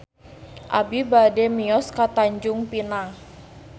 Abi bade mios ka Tanjung Pinang